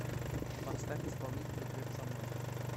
поставь исполнителя глеб самойлов